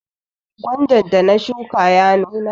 Gwandan da na shuka ya nuna.